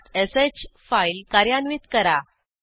redirectश file कार्यान्वित करा